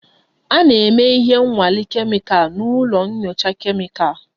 A na-eme ihe nnwale kemikal n'ụlọ nyocha kemịkal